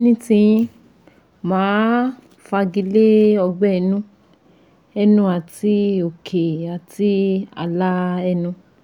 Ní ti yín, mà á fagilé ọgbẹ́ inú ẹnu àti òkè àti ààlà ẹnu